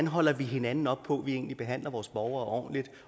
holder hinanden op på at vi egentlig behandler vores borgere ordentligt